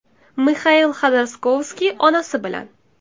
Mixail Xodorkovskiy onasi bilan.